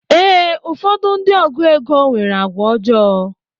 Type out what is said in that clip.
Ee, ụfọdụ ndị ọgụ égo nwere àgwà ọjọọ.